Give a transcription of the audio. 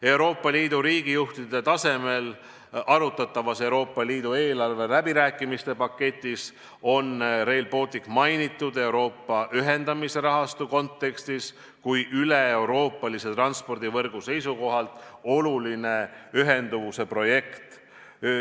Euroopa Liidu riigijuhtide tasemel arutatavas Euroopa Liidu eelarve läbirääkimiste paketis on Rail Balticut mainitud nii Euroopa ühendamise rahastu kontekstis kui ka üleeuroopalise transpordivõrgu seisukohalt olulise ühenduvuse projektina.